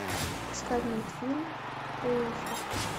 искать мультфильм уилфред